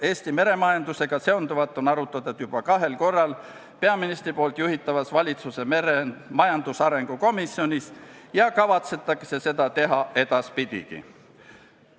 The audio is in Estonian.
Eesti meremajandusega seonduvat on arutatud juba kahel korral peaministri juhitavas valitsuse majandusarengu komisjonis ja seda kavatsetakse teha edaspidigi.